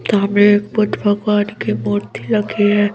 ता में एक बुद्ध भगवान की मूर्ति लगी है।